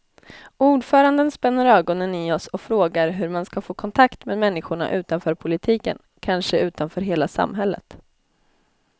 Ordföranden spänner ögonen i oss och frågar hur man ska få kontakt med människorna utanför politiken, kanske utanför hela samhället.